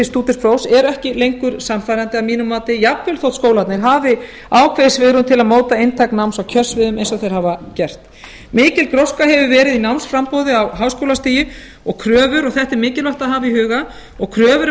stúdentsprófs eru ekki lengur sannfærandi að mínu mati jafnvel þó skólarnir hafi ákveðið svigrúm til að móta einstök náms og kjörsvið eins og þeir hafa gert mikil gróska hefur verið í námsframboði á háskólastigi og kröfur þetta er mikilvægt að hafa í huga og kröfur um